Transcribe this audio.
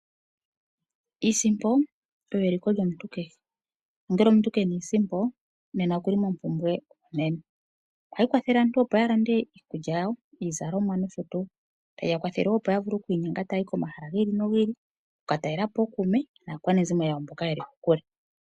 Iisimpo oyo eliko lyomuntu kehe. Nongele omuntu kenasha iisimpo, nena oku li mompumbwe onene. Ohayi kwathele opo aantu ya lande iikulya yawo, iizalomwa nosho tuu. Tayi ya kwathele wo opo ya vule okwiininga taya yi komahala gi ili nogi ili, okukatalela po ookuume naakwanezimo yawo mboka ye li kokule.